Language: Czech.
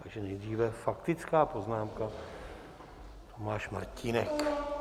Takže nejdříve faktická poznámka - Tomáš Martínek.